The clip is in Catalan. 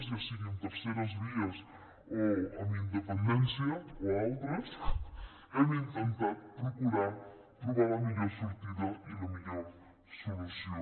ja sigui amb terceres vies o amb independència o altres hem intentat procurar trobar hi la millor sortida i la millor solució